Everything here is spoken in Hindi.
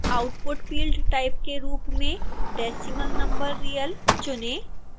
output field type के रूप में decimal number real चुनें